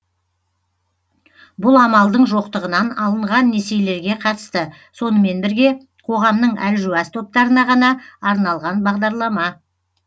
бұл амалдың жоқтығынан алынған несиелерге қатысты сонымен бірге қоғамның әлжуаз топтарына ғана арналған бағдарлама